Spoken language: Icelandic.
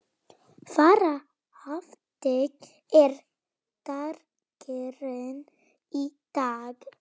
Sara, hvernig er dagskráin í dag?